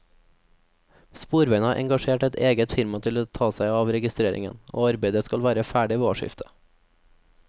Sporveiene har engasjert et eget firma til å ta seg av registreringen, og arbeidet skal være ferdig ved årsskiftet.